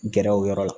Gɛrɛ o yɔrɔ la